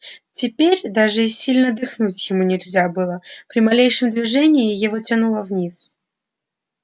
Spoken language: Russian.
теперь даже и сильно дыхнуть ему нельзя было при малейшем движении его тянуло вниз